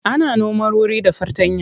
Ana noma wuri da fartanya.